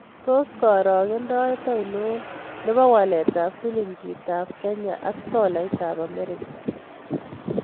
Tos' karogent ainon ne po waletap silingiitap Kenya ak tolaitap Amerika